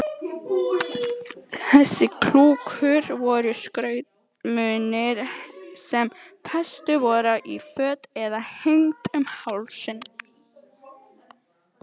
Þessi klukku-úr voru skrautmunir sem fest voru í föt eða hengd um hálsinn.